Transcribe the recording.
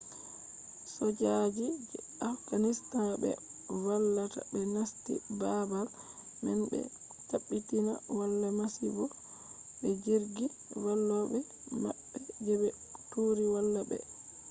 sojaji je afghanistan be je vallata ɓe nasti baabal man be tabbitina wala masibo be jirgi vallobe maɓɓe je be turi valla ɓe